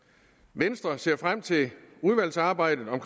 venstre ser frem til udvalgsarbejdet om